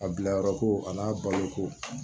A bila yɔrɔ ko a n'a balo ko